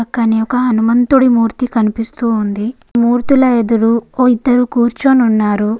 అక్కని ఒక హనుమంతుడి మూర్తి కనిపిస్తోంది. మూర్తుల ఎదురు ఓ ఇద్దరు కూర్చొని ఉన్నారు.